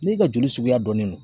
N'e ka joli suguya dɔnnen no